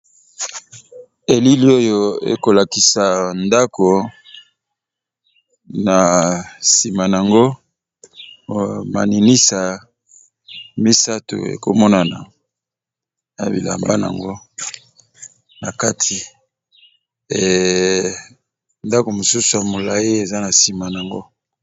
Elili oyo ekolakisa ndako na nsima nango maninisa misato ekomonana na bilamba nango na kati e ndako mosusu ya molayi eza na nsima nango.